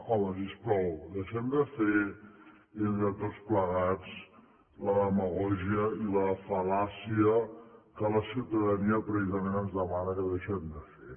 home si us plau deixem de fer entre tots plegats la demagògia i la fal·làcia que la ciutadania precisament ens demana que deixem de fer